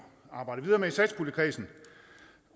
arbejdet videre med i satspuljekredsen